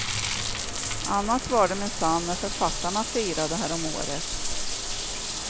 Annat var det minsann när författarna firade härom året.